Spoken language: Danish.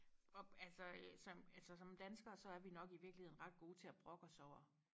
og altså øh som altså som danskere så er vi nok i virkeligheden ret gode til og brokke os over